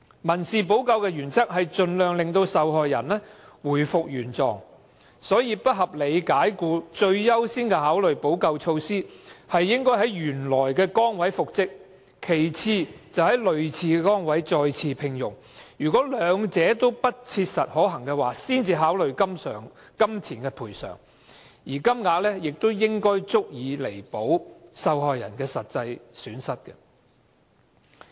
民事補救的原則是盡量令受害人回復原狀，所以不合理解僱最優先的考慮補救措施應是讓僱員在原來崗位復職，其次是在類似崗位再獲聘用，兩者皆不切實可行，才考慮予以金錢賠償，而賠償金額亦應足以彌補受害人的實際損失。